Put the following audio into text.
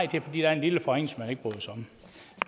der er en lille forringelse